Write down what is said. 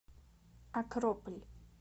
акрополь